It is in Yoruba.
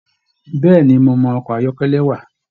Bẹẹni, mo mọ ọkọ ayọkẹlẹ wà.